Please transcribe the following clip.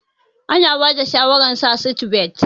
Ana bada shawarar sa seatbelt.